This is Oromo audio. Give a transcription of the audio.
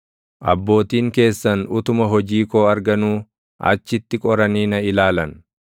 abbootiin keessan utuma hojii koo arganuu, achitti qoranii na ilaalan.